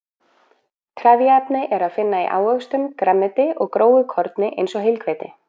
Trefjaefni er að finna í ávöxtum, grænmeti og grófu korni, eins og heilhveiti.